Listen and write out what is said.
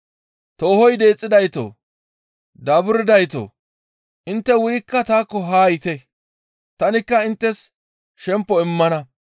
«Toohoy deexxidaytoo, daaburdaytoo, intte wurikka taakko haa yiite; tanikka inttes shempo immana.